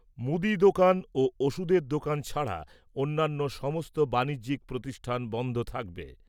মুদি দোকান ও ওষুধের দোকান ছাড়া অন্যান্য সমস্ত বাণিজ্যিক প্রতিষ্ঠান বন্ধ থাকবে ।